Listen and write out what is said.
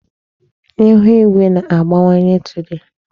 Ịhụ igwe na-agbanwe today.